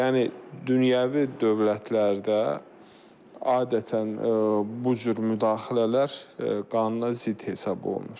Yəni dünyəvi dövlətlərdə adətən bu cür müdaxilələr qanuna zidd hesab olunur.